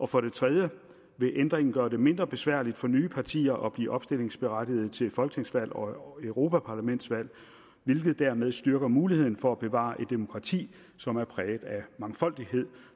for det tredje vil ændringen gøre det mindre besværligt for nye partier at blive opstillingsberettiget til folketingsvalg og europaparlamentsvalg hvilket dermed styrker muligheden for at bevare et demokrati som er præget af mangfoldighed